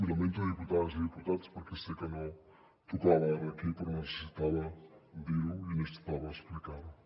i ho lamento diputades i diputats perquè sé que no tocava ara aquí però necessitava dir ho i necessitava explicar ho